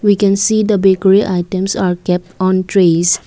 we can see the bekary items are kept on trays.